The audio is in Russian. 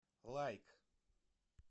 лайк